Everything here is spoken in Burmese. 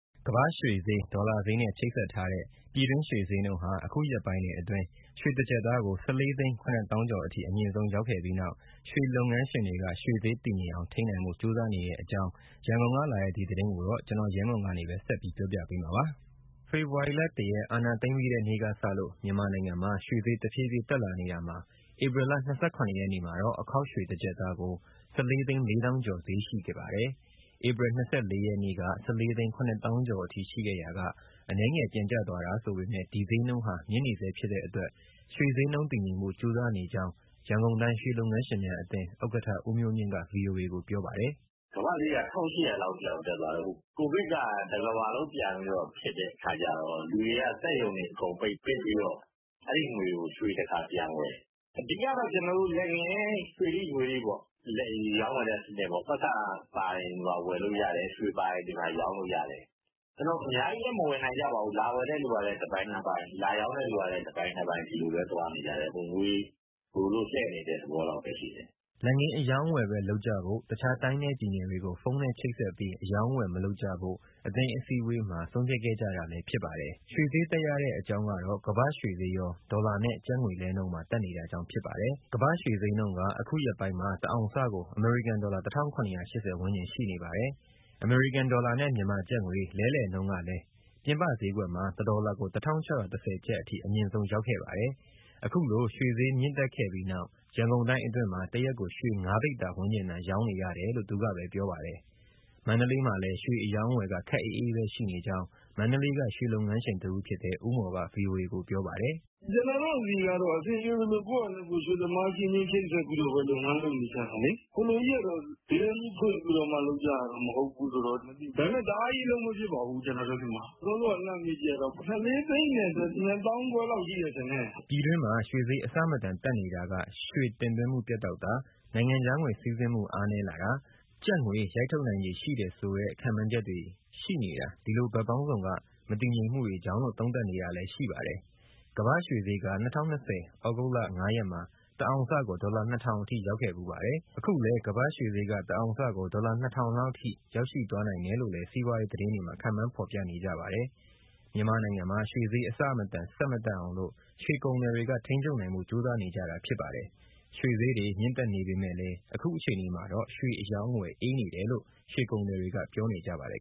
ကမ္ဘာ့ရွှေဈေး၊ ဒေါ်လာဈေးနဲ့ ချိတ်ဆက်ထားတဲ့ ပြည်တွင်းရွှေဈေးနှုန်းဟာ အခုရက်ပိုင်းတွေအတွက် ရွှေတကျပ်သားကို ၁၄ သိန်း ၇ သောင်းကျော်အထိ အမြင့်ဆုံး ရောက်ခဲ့ပြီးနောက် ရွှေလုပ်ငန်းငန်းရှင်တွေက ရွှေဈေး တည်ငြိမ်အောင် ထိန်းနိုင်ဖို့ ကြိုးစားနေတဲ့အကြောင်း ရန်ကုန်က လာတဲ့ ဒီသတင်းကိုတော့ ဗွီအိုအေ မြန်မာပိုင်းသတင်းထောက် ကိုရဲမွန်က ပြောပြပေးမှာပါ။ ဖေဖော်ဝါရီလ ၁ ရက် အာဏာသိမ်းပြီးတဲ့နေ့ကစလို့ မြန်မာနိုင်ငံမှာ ရွှေဈေးတဖြည်းဖြည်းတက်လာနေတာမှာ ဧပြီလ ၂၇ ရက်နေ့မှာတော့ အခေါက်ရွှေတကျပ်သားကို ၁၄ သိန်း ၄ သောင်းကျော်ဈေးရှိခဲ့ပါတယ်။ ဧပြီ ၂၄ ရက်နေ့က ၁၄ သိန်း ၇ သောင်းကျော်အထိ ရှိခဲ့ရာက အနည်းငယ်ပြန်ကျသွားတာဆိုပေမဲ့ ဒီဈေးနှုန်းဟာ မြင့်နေဆဲဖြစ်တဲ့အတွက် ရွှေဈေးနှုန်းတည်ငြိမ်ဖို့ ကြိုးစားနေကြောင်း ရန်ကုန်တိုင်း ရွှေလုပ်ငန်းရှင်များအသင်း ဥက္ကဋ္ဌ ဦးမျိုးမြင့်က ဗွီအိုအေကို ပြောပါတယ်။ “ကမ္ဘာ့ရွှေဈေးက (ဒေါ်လာ) ၁၈၀၀ လောက်အထိ တက်သွားတော့… ကိုဗစ်က တကမ္ဘာလုံး ပြန်ဖြစ်တဲ့အခါကျတော့ လူတွေက စက်ရုံတွေအကုန်ပြန်ပိတ် ပိတ်ပြီးတော့ အဲဒီငွေကို ရွှေတခါပြန်ဝယ်၊ အဓိကတော့ လက်ငင်း ရွှေထိ၊ ငွေထိပေါ့ ရောင်းဝယ်တဲ့စနစ်၊ ပိုက်ဆံပါရင် ဒီမှာ ဝယ်လို့ရတယ်၊ ရွှေပါရင် ဒီမှာ ရောင်းလို့ရတယ်။ အများကြီးလည်း မဝယ်နိုင်ကြပါဘူး လာဝယ်တဲ့သူကလည်း တပိုင်နှစ်ပိုင် လာရောင်းတဲ့သူလည်း တပိုင်နှစ်ပိုင် ဒီလိုပဲသွားနေကြတယ်၊ ငွေလိုလို့ လှည့်နေတဲ့ သဘောလောက်ပဲရှိတယ်။” လက်ငင်းအရောင်းအဝယ်ပဲ လုပ်ကြဖို့၊ တခြားတိုင်းနဲ့ပြည်နယ်တွေကို ဖုန်းနဲ့ချိတ်ဆက်ပြီး အရောင်းအဝယ် မလုပ်ကြဖို့ အသင်းအစည်းအဝေးမှာ ဆုံးဖြတ်ခဲ့ကြတာဖြစ်ပါတယ်။ ရွှေဈေးတက်ရတဲ့ အကြောင်းကတော့ ကမ္ဘာ့ရွှေဈေးရော ဒေါ်လာနဲ့ကျပ်ငွေလဲနှုန်းပါ တက်နေတာကြောင့် ဖြစ်ပါတယ်။ ကမ္ဘာ့ရွှေဈေးနှုန်းက အခုရက်ပိုင်းမှာ တအောင်စကို အမေရိကန်ဒေါ်လာ ၁၇၈၀ ဝန်းကျင်ရှိနေပါတယ်။ အမေရိကန်ဒေါ်လာနဲ့ မြန်မာကျပ်ငွေ လဲလှယ်နှုန်းကလည်း ပြင်ပဈေးကွက်မှာ ၁ ဒေါ်လာကို ၁၆၁၀ ကျပ်အထိ အမြင့်ဆုံးရောက်ခဲ့ပါတယ်။ အခုလို ရွှေဈေးမြင့်တက်ခဲ့ပြီးနောက် ရန်ကုန်တိုင်းအတွင်းမှာ တရက်ကိုရွှေ ၅ ပိဿာ ဝန်းကျင်သာ ရောင်းနေရတယ်လို့ သူက ပြောပါတယ်။ မန္တလေးမှာလည်း ရွှေအရောင်းအဝယ်က ခပ်အေးအေးပဲရှိနေကြောင်း မန္တလေးက ရွှေလုပ်ငန်းရှင် တဦးဖြစ်တဲ့ ဦးမော်က ဗွီအိုအေကို ပြောပါတယ်။ “ကျနော်တို့ဆီကတော့ အဆင်ပြေသလို ကိုယ့်ဟာနဲ့ကိုယ် ရွှေသမားအချင်းချင်း ချိတ်ဆက်ပြီးတော့ လုပ်ငန်း လုပ်နေကြတာလေ။ ဈေးတန်းကြီး ဖွင့်ပြီးတော့မှ လုပ်ကြတာ မဟုတ်ဘူးဆိုတော့၊ ဒါပေမဲ့ တအားကြီး အလုပ်မဖြစ်ပါဘူး ကျနော်တို့ဆီမှာ။ စောစောက လှမ်းမေးကြည့်တာတော့ ၁၄၂၅၀၀၀ လောက်ရှိမယ် ထင်တယ်။” ပြည်တွင်းမှာ ရွှေဈေးအဆမတန် တက်နေတာက ရွှေတင်သွင်းမှုပြတ်တောက်တာ၊ နိုင်ငံခြားငွေ စီးဆင်းမှုအားနည်းလာတာ၊ ကျပ်ငွေရိုက်ထုတ်နိုင်ခြေ ရှိတယ်ဆိုတဲ့ ခန့်မှန်းချက်တွေ ရှိနေတာ ဒီလိုဘက်ပေါင်းစုံက မတည်ငြိမ်မှုတွေကြောင့်လို့ သုံးသပ်နေတာလည်း ရှိပါတယ်။ကမ္ဘာ့ရွှေဈေးက ၂၀၂၀ ဩဂုတ်လ ၅ ရက်မှာ တအောင်စကို ဒေါ်လာ ၂၀၀၀ အထိရောက်ခဲ့ဖူးပါတယ်။ အခုလည်း ကမ္ဘာ့ရွှေဈေးက တအောင်စကို ဒေါ်လာ ၂၀၀၀ လောက် ထိရောက်ရှိ သွားနိုင်တယ်လို့လည်း စီးပွားရေးသတင်းတွေမှာ ခန့်မှန်းဖော်ပြနေကြပါတယ်။ မြန်မာနိုင်ငံမှာ ရွှေဈေး အဆမတန် ဆက် မတက်အောင်လို့ ရွှေကုန်သည်တွေက ထိန်းချုပ်နိုင်ဖို့ ကြိုးစားနေကြတာဖြစ်ပါတယ်။ ရွှေဈေးတွေ မြင့်တက်နေပေမဲ့လည်း အခုအခြေအနေမှာတော့ ရွှေအရောင်းအဝယ် အေးနေတယ်လို့ ရွှေကုန်သည်တွေက ပြောနေကြပါတယ်